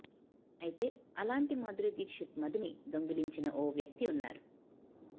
అయితే అలాంటి మాధురి దీక్షిత్ మదిని దొంగలించిన ఓ వ్యక్తి వున్నారు